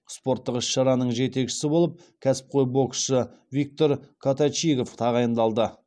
спорттық іс шараның жетекшісі болып кәсіпқой боксшы виктор коточигов тағайындалды